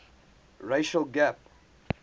racial gap